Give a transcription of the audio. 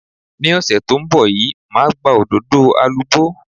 Ní ọ̀sẹ̀ tó ń bọ̀ yìí, màá gba òdòdó alubó.